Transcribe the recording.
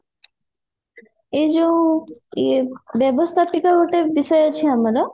ଏଇ ଯଉ ଇଏ ବ୍ୟବସ୍ଥାପିତ ଗୋଟେ ବିଷୟ ଅଛି ଆମର